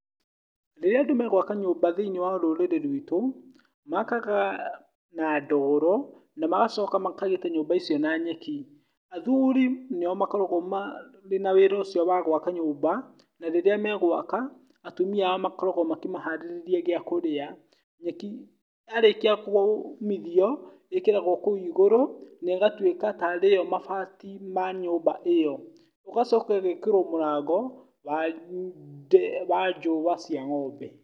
Rĩrĩa andũ megwaka nyũmba thĩiniĩ wa rũrĩrĩ rwitũ makaga na ndoro na magacoka makagita nyũmba icio na nyeki. Athuri nĩo makoragwo marĩ na wĩra ũcio wa gwaka nyũmba na rĩrĩa megwaka atumia ao makoragwo makĩmaharĩrĩria gĩa kũrĩa. Nyeki yarĩkia kũũmithio ĩkĩragwo kũu igũrũ na ĩgatuĩka ta rĩyo mabati ma nyũmba ĩyo. ĩgacoka ĩgekĩrwo mũrango wa njũa cia ng'ombe.